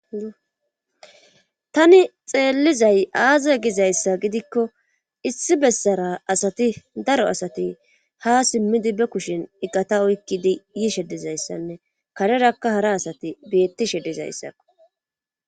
tani xeellizay aaza gizayssa gidikko issi bessara asati daro asati ha simmidi be kushin iqata oykkidi yiishe dizayssanne karerakka hara asati beettishe dizayssakko